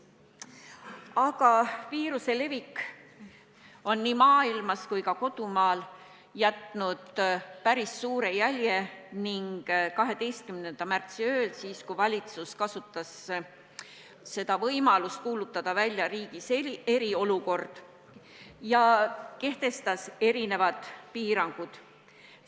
Selle viiruse levik on nii mujal maailmas kui ka meie kodumaal jätnud päris suure jälje ning 12. märtsi ööl, kui valitsus kasutas võimalust kuulutada välja riigis eriolukord, kehtestatigi erinevad piirangud.